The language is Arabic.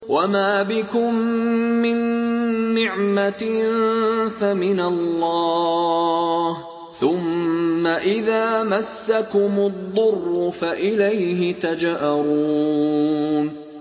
وَمَا بِكُم مِّن نِّعْمَةٍ فَمِنَ اللَّهِ ۖ ثُمَّ إِذَا مَسَّكُمُ الضُّرُّ فَإِلَيْهِ تَجْأَرُونَ